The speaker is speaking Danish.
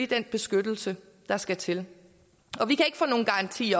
den beskyttelse der skal til vi kan ikke få nogen garanti